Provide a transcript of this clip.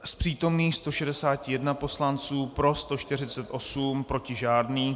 Z přítomných 161 poslanců, pro 148, proti žádný.